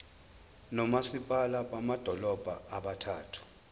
nomasipala bamadolobha abathathu